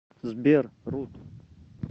сбер рут